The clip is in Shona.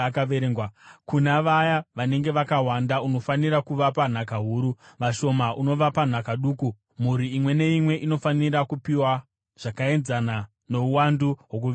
Kuna vaya vanenge vakawanda, unofanira kuvapa nhaka huru, vashoma unovapa nhaka duku; mhuri imwe neimwe inofanira kupiwa zvakaenzana nouwandu hwokuverengwa kwavo.